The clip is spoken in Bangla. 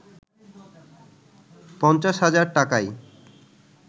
৫০ হাজার টাকায়